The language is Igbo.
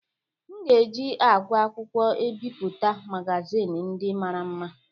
M ga-eji àgwà akwụkwọ ebipụta magazin ndị mara mma